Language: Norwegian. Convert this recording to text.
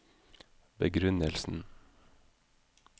begrunnelsen